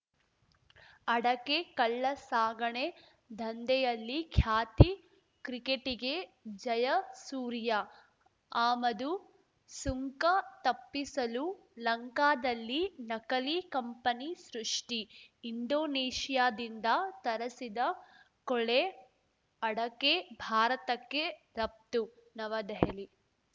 ಅಡಕೆ ಕಳ್ಳಸಾಗಣೆ ದಂಧೆಯಲ್ಲಿ ಖ್ಯಾತಿ ಕ್ರಿಕೆಟಿಗೆ ಜಯಸೂರ್ಯ ಆಮದು ಸುಂಕ ತಪ್ಪಿಸಲು ಲಂಕಾದಲ್ಲಿ ನಕಲಿ ಕಂಪನಿ ಸೃಷ್ಟಿ ಇಂಡೋನೇಷ್ಯಾದಿಂದ ತರಸಿದ ಕೊಳೆ ಅಡಕೆ ಭಾರತಕ್ಕೆ ರಫ್ತು ನವದೆಹಲಿ